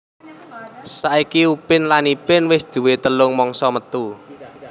Saiki Upin lan Ipin wis duwé telung mangsa metu